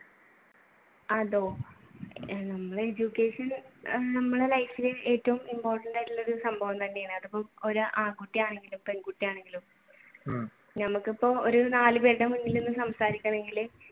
അതോ നമ്മൾ education നമ്മളുടെ rights ഇൽ ഏറ്റവും important ആയിട്ടുള്ള സംഭവം തന്നെയാണ് അതിപ്പോ ഒരു ആൺകുട്ടിയാണെങ്കിലും പെൺകുട്ടിയാണെങ്കിലും ഞമ്മക്കിപ്പോ ഒരു നാല് പേരുടെ മുന്നിൽ നിന്ന് സംസാരിക്കണമെങ്കിൽ